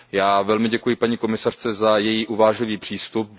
Já velmi děkuji paní komisařce za její uvážlivý přístup.